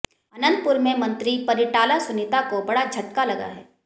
अनंतपुर में मंत्री परिटाला सुनीता को बड़ा झटका लगा है